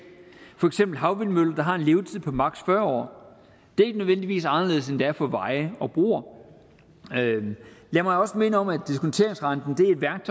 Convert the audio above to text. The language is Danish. havvindmølle der har en levetid på maks fyrre år det er ikke nødvendigvis anderledes end det er for veje og broer lad mig også minde om at diskonteringsrenten